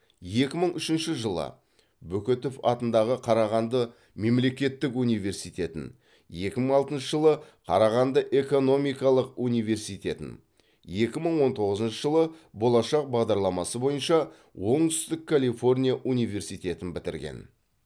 екі мың үшінші жылы бөкетов атындағы қарағанды мемлекеттік университетін екі мың алтыншы жылы қарағанды экономикалық университетін екі мың он тоғызыншы жылы болашақ бағдарламасы бойынша оңтүстік калифорния университетін бітірген